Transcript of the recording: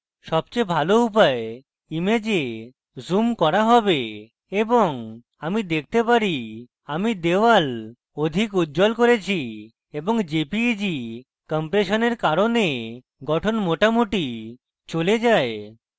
সবচেয়ে ভালো উপায় image জুম করা have এবং আমি দেখতে পারি আমি wall অধিক উজ্জ্বল করেছি এবং jpeg compression কারণে গঠন মোটামুটি চলে যায়